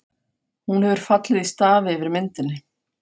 Hún hefur fallið í stafi yfir myndinni.